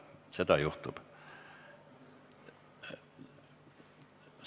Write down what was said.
Seda juhtub.